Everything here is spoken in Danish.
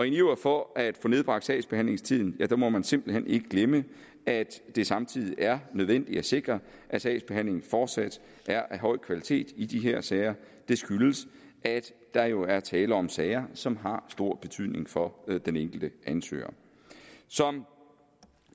en iver for at få nedbragt sagsbehandlingstiden må man simpelt hen ikke glemme at det samtidig er nødvendigt at sikre at sagsbehandlingen fortsat er af høj kvalitet i de her sager det skyldes at der jo er tale om sager som har stor betydning for den enkelte ansøger som